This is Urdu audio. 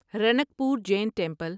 رنک پور جین ٹیمپل